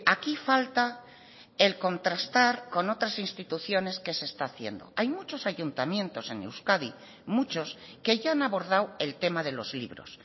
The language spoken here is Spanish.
aquí falta el contrastar con otras instituciones qué se está haciendo hay muchos ayuntamientos en euskadi muchos que ya han abordado el tema de los libros